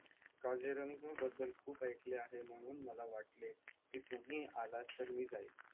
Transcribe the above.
मी काजीरंगाबद्दल खूप ऐकले आहे म्हणून मला वाटले तुम्ही आलात तर मी जाईन